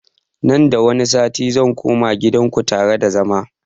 Nan da wani sati zan koma gidan kutare da zama